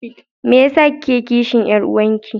Me yasa kike kishin Yar'uwanki?